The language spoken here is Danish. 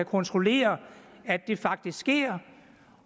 kontrollere at det faktisk sker